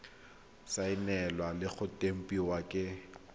saenilwe le go tempiwa ke